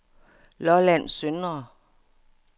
Lolland Søndre